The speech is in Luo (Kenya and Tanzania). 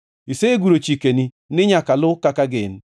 Iseguro chikeni ni nyaka lu kaka gin.